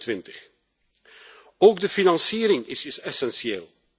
2020? Ook de financiering is essentieel.